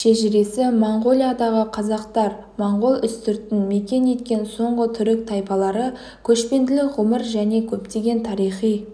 шежіресі моңғолиядағы қазақтар моңғол үстіртін мекен еткен соңғы түрік тайпалары көшпенділік ғұмыр және көптеген тарихи